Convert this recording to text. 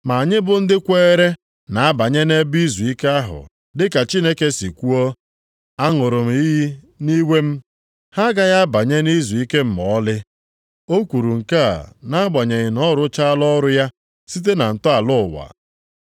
Ma anyị bụ ndị kweere na-abanye nʼebe izuike ahụ, dị ka Chineke si kwuo, “Aṅụrụ m iyi nʼiwe m, ‘Ha agaghị abanye nʼizuike m ma ọlị.’ ”+ 4:3 \+xt Abụ 95:11\+xt* O kwuru nke a nʼagbanyeghị na ọ rụchaala ọrụ ya site na ntọala ụwa.